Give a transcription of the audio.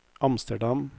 Amsterdam